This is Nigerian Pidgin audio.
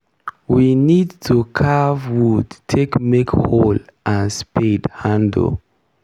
we need to carve wood take make hoe and spade handle.